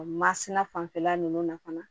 O masina fanfɛla ninnu na fana